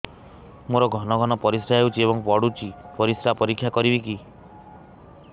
ମୋର ଘନ ଘନ ପରିସ୍ରା ହେଉଛି ଏବଂ ପଡ଼ୁଛି ପରିସ୍ରା ପରୀକ୍ଷା କରିବିକି